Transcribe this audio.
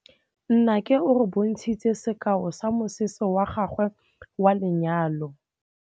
Nnake o re bontshitse sekaô sa mosese wa gagwe wa lenyalo.